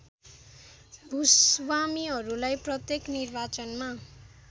भूस्वामीहरूलाई प्रत्येक निर्वाचनमा